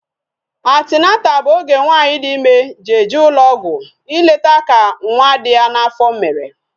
Atineta bụ oge nwaanyị dị ịme ji eje ụlọ ọgwụ ileta ka nwa dị ya n'afọ mere